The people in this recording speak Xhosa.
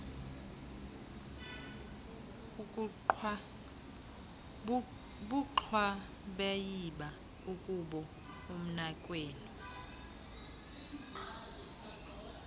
bugxwabayiba akubo umnakwenu